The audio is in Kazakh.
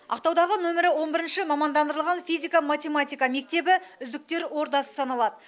ақтаудағы нөмірі он бірінші мамандандырылған физика математика мектебі үздіктер ордасы саналады